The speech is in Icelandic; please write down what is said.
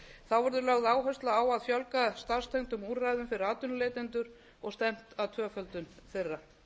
þá verður lögð áhersla á að fjölga starfstengdum úrræðum fyrir atvinnuleitendur og stefnt að tvöföldun þeirra